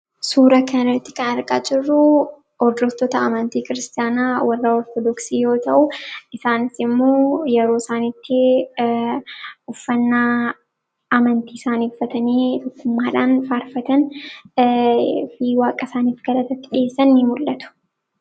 Suuraa kana irraa kan argaa jirru, hordoftoota amantii kiristaanaa warra Ortodoksii yoo ta'u, isaanis immoo yeroo isaan itti uffannaa amantii isaanii uffatanii tokkummaadhaan faarfatan fi waaqa isaanii galateeffatanidha ni mul'atu.